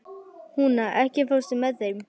Húna, ekki fórstu með þeim?